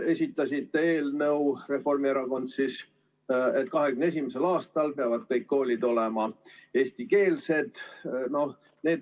Reformierakond esitas eelnõu, et 2021. aastaks peavad kõik koolid olema eestikeelsed.